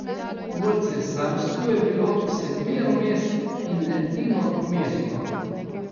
V cesarstvu je bilo sedmero mest in edino mesto.